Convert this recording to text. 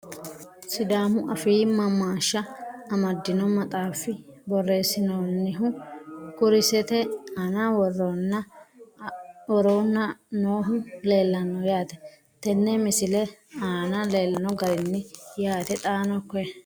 Sidaamu affi maammashsha amadinno maxxaaffi borreessinoonnihu kurisette aanna woroonna noohu leelanno yaatte tenne misile aanna leellano garinni yaatte xaanno koye